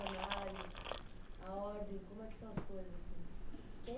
a ordem... Como é que são as coisas assim? Tipo....